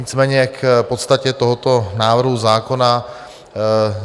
Nicméně k podstatě tohoto návrhu zákona.